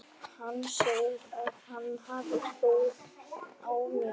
Hann segir að hann hafi trú á mér.